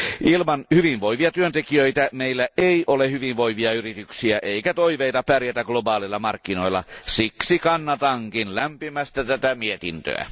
Ilman hyvinvoivia työntekijöitä meillä ei ole hyvinvoivia yrityksiä eikä toiveita pärjätä globaaleilla markkinoilla. Siksi kannatankin lämpimästi tätä mietintöä.